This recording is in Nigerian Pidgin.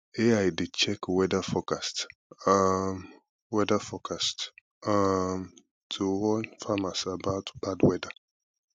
ai dey check weather forecast um weather forecast um to warn farmers about bad weather